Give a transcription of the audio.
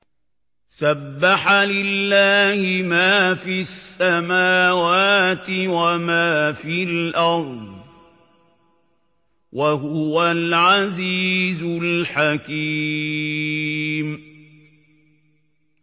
سَبَّحَ لِلَّهِ مَا فِي السَّمَاوَاتِ وَمَا فِي الْأَرْضِ ۖ وَهُوَ الْعَزِيزُ الْحَكِيمُ